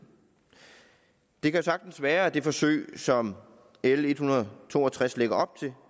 det kan sagtens være at det forsøg som l en hundrede og to og tres lægger op til